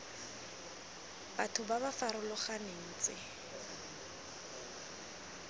batho ba ba farologaneng tse